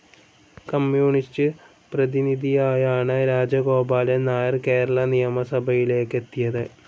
Communist പ്രതിനിധിയായാണ് രാജഗോപാലൻ നായർ കേരള നിയമസഭയിലേക്കെത്തിയത്.